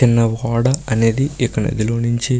చిన్న ఓడ అనేది ఇక్కడ నధి లో నుంచి --